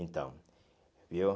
Então, viu?